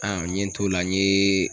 n ye n t'o la n ye.